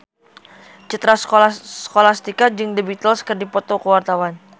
Citra Scholastika jeung The Beatles keur dipoto ku wartawan